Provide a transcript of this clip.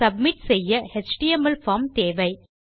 submit செய்ய HTML form தேவை